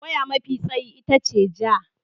Waya mafi tsayi ita ce ja.